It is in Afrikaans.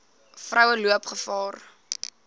vroue loop gevaar